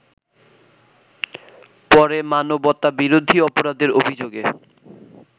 পরে মানবতাবিরোধী অপরাধের অভিযোগে